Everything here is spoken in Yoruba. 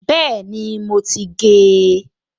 Bẹ́ẹ̀ni, mo ti gé e